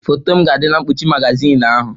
Foto m ga-adị na mkpuchi magazin ahụ.